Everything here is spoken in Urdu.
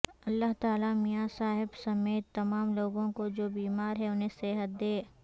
اللہ تعالی میاں صاحب سمیت تمام لوگوں کو جو بیمار ہیں انہیں صحت دے